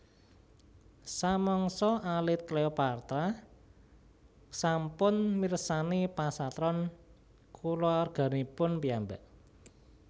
Samangsa alit Cleopatra sampun mirsani pasatron kulawarganipun piyambak